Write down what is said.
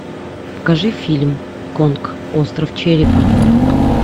покажи фильм конг остров черепа